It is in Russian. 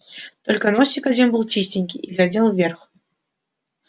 только носик один был чистенький и глядел вверх